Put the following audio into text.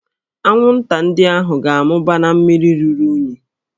Anwụnta ndị ahụ ga-amụba na mmiri ruru unyi